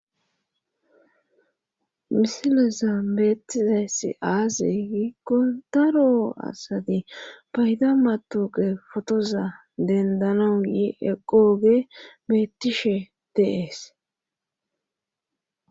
Misileza beettizayssi aaze giikko daro asati payda matoqe fotoza dendanauye eqqooge bettishe deees